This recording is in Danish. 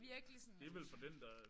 Virkelig sådan